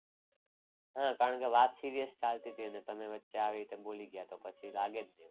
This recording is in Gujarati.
હા કારણ કે વાત serious ચાલતી હતી. અને તમે વચ્ચે આવી રીતે બોલી ગયા કે પછી લાગે ને.